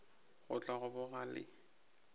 go tla go boga le